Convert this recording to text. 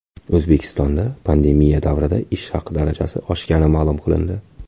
O‘zbekistonda pandemiya davrida ish haqi darajasi oshgani ma’lum qilindi.